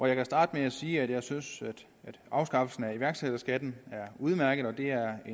jeg kan starte med at sige at jeg synes at afskaffelsen af iværksætterskatten er udmærket og at det er